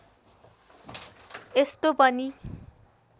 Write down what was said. यस्तो पनि